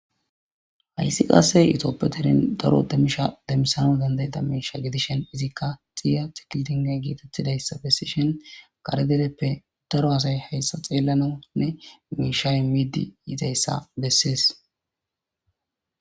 Haysi qase tophiya deren daro demisha demisanas dandayadis misha gidishinizika izika xiyante getetidaysa besishin kare dereppe daro asay haysa xeelanawnne misha imidi yizaysa besees.